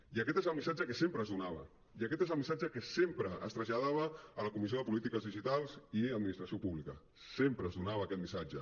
i aquest és el missatge que sempre es donava i aquest és el missatge que sempre es traslladava a la comissió de polítiques digitals i administració pública sempre es donava aquest missatge